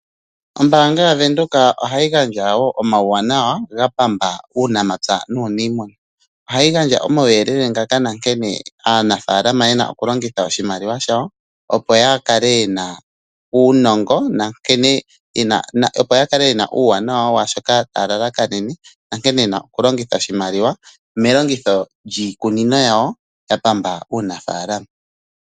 Ombanga yaVenduka ohayi gandjawo omauwanawa gapamba uunamapya nuunimuna. Ohayi gandja omauyelele ngaka nankene aanafalama yena oku longitha oshimaliwa shawo opo ya kale yena uunongo nankene yena oku uwanawa washoka taya lalakanene, nankene yena oku longitha oshimaliwa melongitho lyiikunino yawo ya pamba uunafalama.